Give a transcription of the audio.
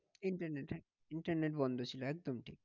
Internet internet বন্ধ ছিল একদম ঠিক।